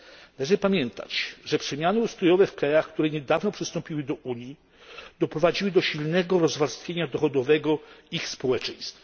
Należy pamiętać, że przemiany ustrojowe w krajach, które niedawno przystąpiły do Unii doprowadziły do silnego rozwarstwienia dochodowego ich społeczeństw.